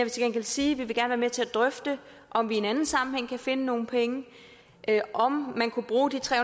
gengæld sige at vi gerne vil til at drøfte om vi i en anden sammenhæng kan finde nogle penge om man kunne bruge de tre